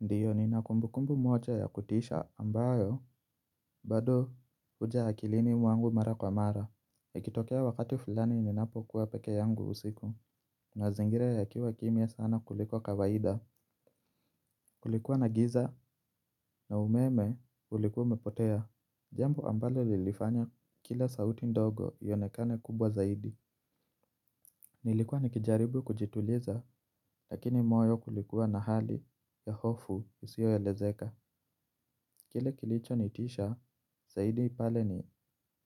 Ndio nina kumbukumbu moja ya kutisha ambayo, bado huja akilini mwangu mara kwa mara. Ikitokea wakati fulani ninapo kuwa peke yangu usiku, mazingira yakiwa kimya sana kuliko kawaida, kulikuwa na giza na umeme ulikuwa umepotea. Jambo ambalo lilifanya kila sauti ndogo ionekane kubwa zaidi. Nilikuwa nikijaribu kujituliza, lakini moyo ulikuwa na hali ya hofu usio elezeka. Kile kilicho nitisha zaidi pale ni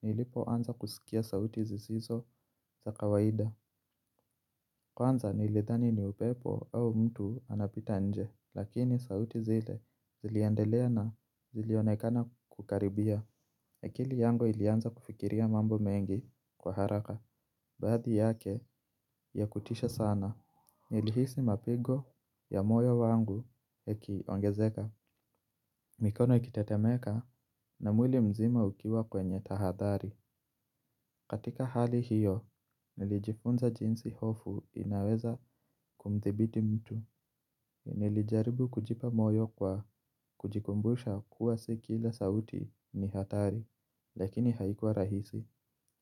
nilipo anza kuskia sauti zisizo za kawaida. Kwanza nilidhani ni upepo au mtu anapita nje, lakini sauti zile ziliendelea na zilionekana kukaribia. Akili yangu ilianza kufikiria mambo mengi kwa haraka. Baadhi yake ya kutisha sana. Nilihisi mapigo ya moyo wangu yakiongezeka. Mikono ikitetemeka, na mwili mzima ukiwa kwenye tahadhari. Katika hali hiyo, nilijifunza jinsi hofu inaweza kumthibiti mtu. Nilijaribu kujipa moyo kwa kujikumbusha kuwa si kila sauti ni hatari. Lakini haikuwa rahisi.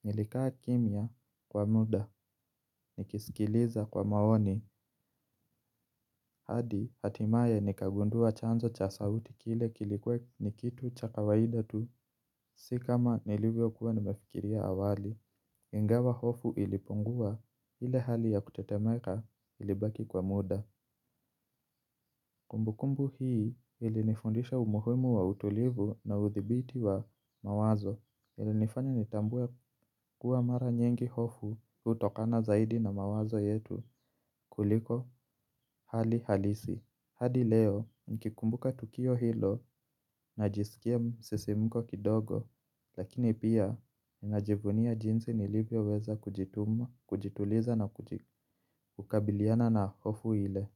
Nilikaa kimya kwa muda, nikisikiliza kwa maoni, hadi hatimaye nikagundua chanzo cha sauti kile kilikuwa ni kitu cha kawaida tu. Sikama nilivyokuwa nimefikiria awali. Ingawa hofu ilipungua, ile hali ya kutetemeka ilibaki kwa muda. Kumbukumbu hii, ilinifundisha umuhimu wa utulivu na uthibiti wa mawazo. Ilinifanya nitambue kuwa mara nyingi hofu hutokana zaidi na mawazo yetu kuliko, hali halisi. Hadi leo nikikumbuka tukio hilo najisikia msisimko kidogo. Lakini pia, ninajivunia jinsi nilivyoweza kujituliza na kukabiliana na hofu ile.